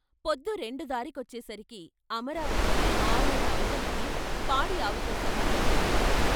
పొద్దు రెండు దారికొచ్చేసరికి అమరావతికి ఆరూళ్ళ అవతలికి పాడి ఆవుతో సహా వెళ్ళిపోయాడు.